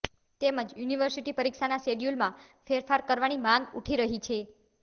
તેમજ યુનિર્વિસટી પરીક્ષાના શિડયુલમાં ફેરફાર કરવાની માંગ ઉઠી રહી છે